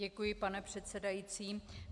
Děkuji, pane předsedající.